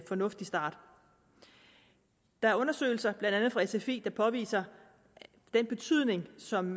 fornuftig start der er undersøgelser blandt andet fra sfi der påviser den betydning som